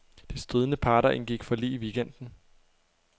De stridende parter indgik forlig i weekenden.